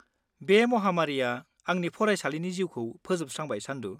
बे महामारिया आंनि फरायसालि जिउखौ फोजोबस्रांबाय, चान्दु।